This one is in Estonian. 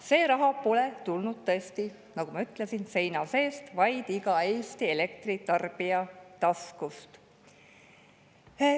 See raha pole tulnud tõesti, nagu ma ütlesin, seina seest, vaid iga Eesti elektritarbija taskust.